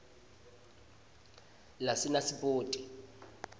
lasenasipoti